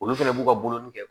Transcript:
Olu fɛnɛ b'u ka bolonin kɛ